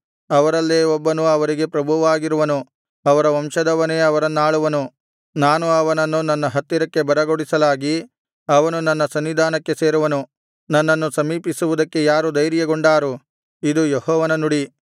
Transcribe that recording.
ಅವರಲ್ಲೇ ಒಬ್ಬನು ಅವರಿಗೆ ಪ್ರಭುವಾಗಿರುವನು ಅವರ ವಂಶದವನೇ ಅವರನ್ನಾಳುವನು ನಾನು ಅವನನ್ನು ನನ್ನ ಹತ್ತಿರಕ್ಕೆ ಬರಗೊಡಿಸಲಾಗಿ ಅವನು ನನ್ನ ಸನ್ನಿಧಾನಕ್ಕೆ ಸೇರುವನು ನನ್ನನ್ನು ಸಮೀಪಿಸುವುದಕ್ಕೆ ಯಾರು ಧೈರ್ಯಗೊಂಡಾರು ಇದು ಯೆಹೋವನ ನುಡಿ